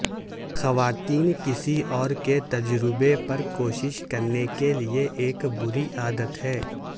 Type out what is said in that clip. خواتین کسی اور کے تجربے پر کوشش کرنے کے لئے ایک بری عادت ہے